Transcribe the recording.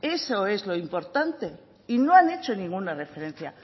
eso es lo importante y no han hecho ninguna referencia